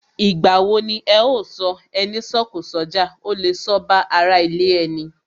Ìgbà wo ni ẹ ó sọ " Ẹni sọ̀kọ̀ sójà, ó lè sọ ba ara ilé ẹni?